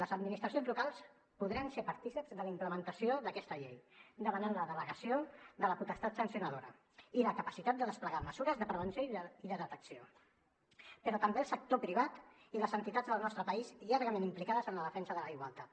les administracions locals podran ser partícips de la implementació d’aquesta llei demanant la delegació de la potestat sancionadora i la capacitat de desplegar mesures de prevenció i de detecció però també el sector privat i les entitats del nostre país llargament implicades en la defensa de la igualtat